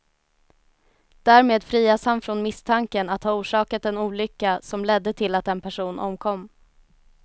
Därmed frias han från misstanken att ha orsakat en olycka som ledde till att en person omkom.